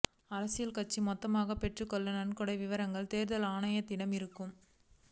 அரசியல் கட்சிகள் மொத்தமாகப் பெற்றுள்ள நன்கொடை விவரங்கள் தேர்தல் ஆணையத்திடம் இருக்கும்